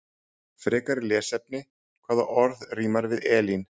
Frekara lesefni: Hvaða orð rímar við Elín?